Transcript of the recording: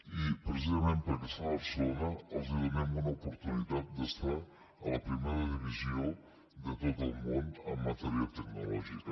i precisament perquè es fa a barcelona els donem una oportunitat d’estar a la primera divisió de tot el món en matèria tecnològica